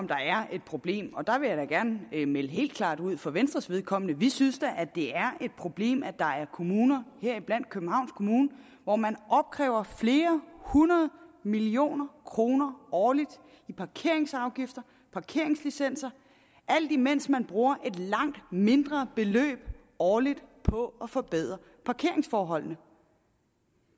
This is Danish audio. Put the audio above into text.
om der er et problem og der vil jeg da gerne melde helt klart ud for venstres vedkommende vi synes da at det er et problem at der er kommuner heriblandt københavns kommune hvor man opkræver flere hundrede millioner kroner årligt i parkeringsafgifter og parkeringslicenser alt imens man bruger et langt mindre beløb årligt på at forbedre parkeringsforholdene